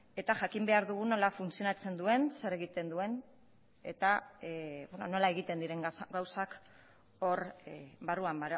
eta jakin behar dugu nola funtzionatzen duen zer egiten duen eta nola egiten diren gauzak hor barruan